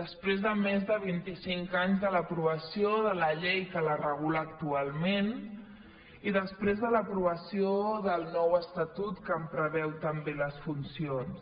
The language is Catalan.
després de més de vinticinc anys de l’aprovació de la llei que la regula actualment i després de l’aprovació del nou estatut que en preveu també les funcions